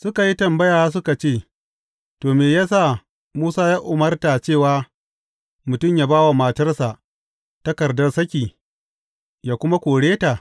Suka yi tambaya, suka ce, To, me ya sa Musa ya umarta cewa mutum yă ba wa matarsa takardar saki, yă kuma kore ta?